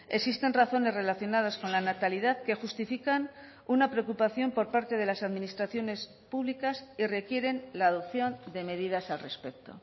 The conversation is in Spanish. existen razones relacionadas con la natalidad que justifican una preocupación por parte de las administraciones públicas y requieren la adopción de medidas al respecto